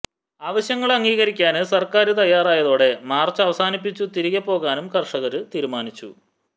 അവശ്യങ്ങള് അംഗീകരിക്കാന് സര്ക്കാര് തയ്യാറായതോടെ മാര്ച്ച് അവസാനിപ്പിച്ചു തിരിച്ചു പോകാനും കര്ഷകര് തീരുമാനിച്ചു